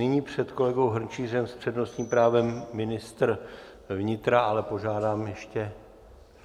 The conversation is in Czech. Nyní před kolegou Hrnčířem s přednostním právem ministr vnitra, ale požádám ještě